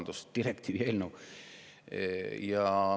Jah, direktiivi eelnõu.